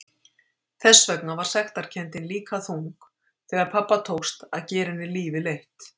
Þess vegna var sektarkenndin líka þung þegar pabba tókst að gera henni lífið leitt.